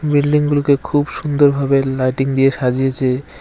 বিল্ডিংগুলোকে খুব সুন্দরভাবে লাইটিং দিয়ে সাজিয়েছে।